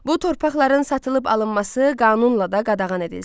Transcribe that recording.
Bu torpaqların satılıb alınması qanunla da qadağan edilsin.